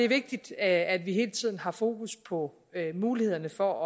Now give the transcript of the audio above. vigtigt at vi hele tiden har fokus på mulighederne for at